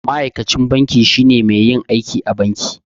Ma'aikacin banki shine mai yin aiki a banki.